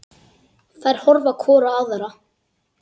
Þær horfa hvor á aðra.